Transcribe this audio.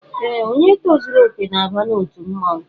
Ee, onye tozuru okè na-aba n'otu mmọnwụ